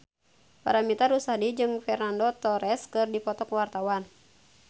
Paramitha Rusady jeung Fernando Torres keur dipoto ku wartawan